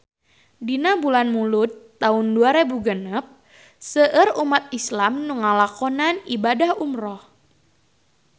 Dina bulan Mulud taun dua rebu genep seueur umat islam nu ngalakonan ibadah umrah